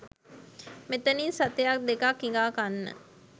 මෙතනින් සතයක් දෙකක් හිඟා කන්න